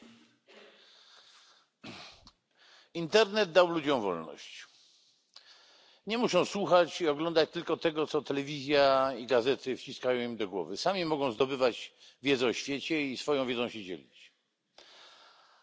Panie Przewodniczący! Internet dał ludziom wolność nie muszą słuchać i oglądać tylko tego, co telewizja i gazety wciskają im do głowy. Sami mogą zdobywać wiedzę o świecie i swoją wiedzą się dzielić,